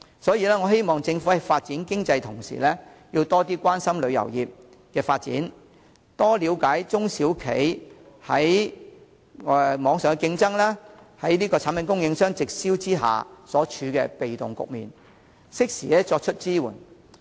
所以，我希望政府在發展經濟的同時，多關心旅遊業的發展，多了解中小旅行社在網上競爭及產品供應商直銷下所處的被動局面，適時作出支援。